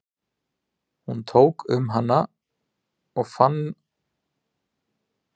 Hún tók um hana og fannst hún styrk, lófinn stór og heitur, neglurnar vel hirtar.